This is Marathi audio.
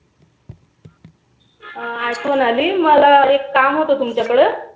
अ आठवण आली. मला एक काम होतं तुमच्या कड